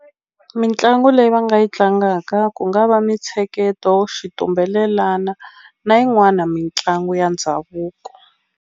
Mitlangu leyi va nga yi tlangaka ku nga va mintsheketo xitumbelelana na yin'wana mitlangu ya ndhavuko.